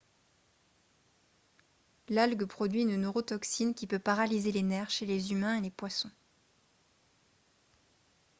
l'algue produit une neurotoxine qui peut paralyser les nerfs chez les humains et les poissons